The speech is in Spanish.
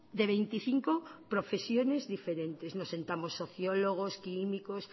de veinticinco profesiones diferentes nos sentamos sociólogos químicos